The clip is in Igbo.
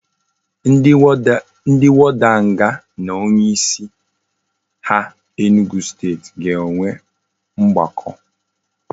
Ndi warder nga na onye isi a enugwu state ga enwe ogbako